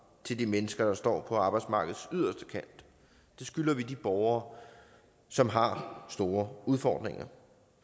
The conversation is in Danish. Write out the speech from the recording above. til de mennesker der står på arbejdsmarkedets yderste kant det skylder vi de borgere som har store udfordringer